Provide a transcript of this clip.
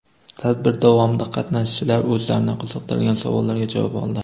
Tadbir davomida qatnashchilar o‘zlarini qiziqtirgan savollarga javob oldi.